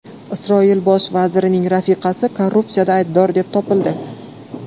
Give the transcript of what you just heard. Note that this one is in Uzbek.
Isroil bosh vazirining rafiqasi korrupsiyada aybdor deb topildi.